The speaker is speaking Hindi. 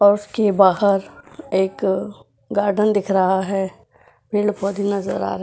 और उसके बाहर एक गार्डन दिख रहा है पेड़ पौधे नज़र आ --